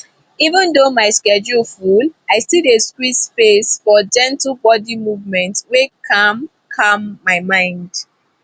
even though my schedule full i still dey squeeze space for gentle body movement wey calm calm my mind